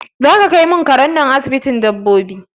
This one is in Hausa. Zaka kai mun karen nan asibitin dabbobi?